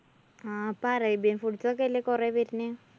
ആ ഇപ്പോ arabian foods ഒക്കെ അല്ലേ കൊറേ വര്ണ്.